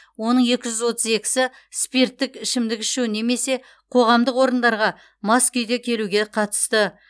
оның екі жүз отыз екісі спирттік ішімдік ішу немесе қоғамдық орындарға мас күйде келуге қатысты